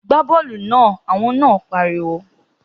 Gbá bọ́ọ̀lù náà! Olùkọ́ náà pariwo